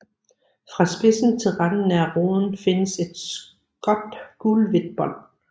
Fra spidsen til randen nær roden findes et skåt gulhvidt bånd